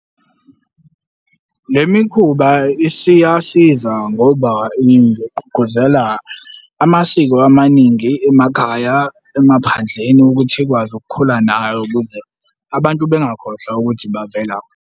Le mikhuba isiyasiza ngoba ingigqugquzela amasiko amaningi emakhaya emaphandleni ukuthi ikwazi ukukhula nayo ukuze abantu bengakhohlwa ukuthi bavela kuphi.